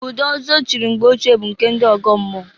Ụdị ọzọ echiri mgbe ochie bụ nke ndị ọgọmmụọ.